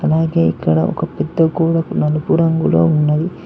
అలాగే ఇక్కడ పెద్ద ఒక గోడ నలుపు రంగులో ఉన్నది.